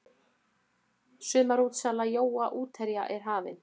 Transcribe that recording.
Sumarútsala jóa útherja er hafin.